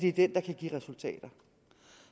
er den der kan give resultater